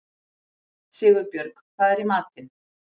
Sigurbjörg, hvað er í matinn?